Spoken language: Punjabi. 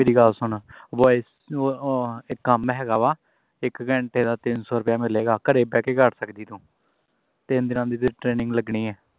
ਮੇਰੀ ਗੱਲ ਸੁਣ wi-fi ਅਹ ਇੱਕ ਕੰਮ ਹੈ ਗਾਵਾਂ ਇੱਕ ਘੰਟੇ ਦਾ ਤਿੰਨ ਸੌ ਰੁਪਿਆ ਮਿਲੇਗਾ ਘਰੇ ਬਹਿ ਕੇ ਕਰ ਸਕਦੀ ਤੂੰ ਤਿੰਨ ਦਿਨਾਂ ਦੀ ਤੇਰੀ training ਲੱਗਣੀ ਹੈ